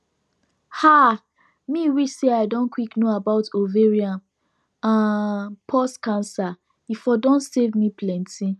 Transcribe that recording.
ah me wish say i don quick know about ovarian um pause cancer e for don save me plenty